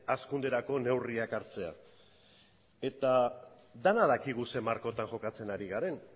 hazkunderako neurrian hartzea eta denok dakigu zein markotan jokatzen ari garen